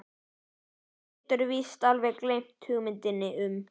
Hann getur víst alveg gleymt hugmyndinni um